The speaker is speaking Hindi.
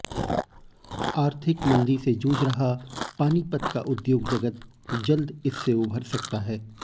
आर्थिक मंदी से जूझ रहा पानीपत का उद्योग जगत जल्द इससे उभर सकता है